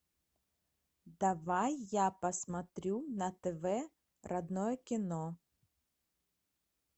давай я посмотрю на тв родное кино